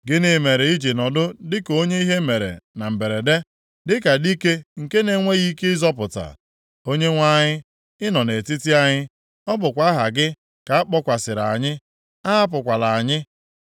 Gịnị mere i ji nọdụ dịka onye ihe mere na mberede, dịka dike nke na-enweghị ike ịzọpụta? Onyenwe anyị, ị nọ nʼetiti anyị; ọ bụkwa aha gị ka a kpọkwasịrị anyị. Ahapụkwala anyị!